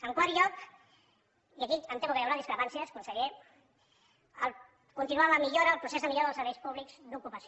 en quart lloc i aquí em temo que hi haurà discrepàncies conseller continuar amb la millora amb el procés de millora dels serveis públics d’ocupació